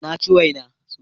Na ci wena